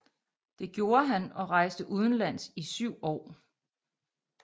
Det gjorde han og rejste udenlands i syv år